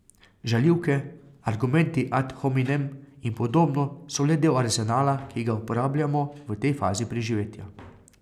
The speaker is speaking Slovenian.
Žaljivke, argumenti ad hominem in podobno so le del arzenala, ki ga uporabljamo v tej fazi preživetja.